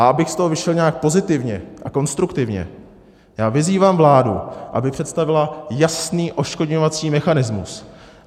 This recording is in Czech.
A abych z toho vyšel nějak pozitivně a konstruktivně, já vyzývám vládu, aby představila jasný odškodňovací mechanismus.